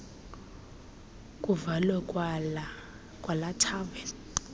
kuvalwe kwalaa thaveni